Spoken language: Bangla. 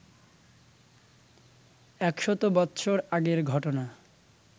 এক শত বৎসর আগের ঘটনা